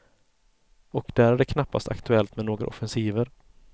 Och där är det knappast aktuellt med några offensiver.